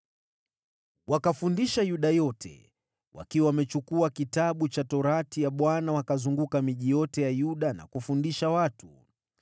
Wakafundisha Yuda yote, wakiwa wamechukua Kitabu cha Sheria ya Bwana wakazunguka miji yote ya Yuda na kufundisha watu.